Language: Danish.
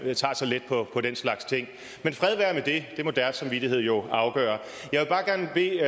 man tager så let på den slags ting men fred være med det det må deres samvittighed jo afgøre jeg vil